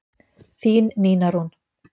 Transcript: Þín Nína Rún.